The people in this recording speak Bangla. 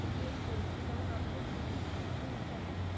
Gain করছে যেমন আমাদের covid situation এ